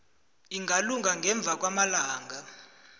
ingalunga ngemva kwamalanga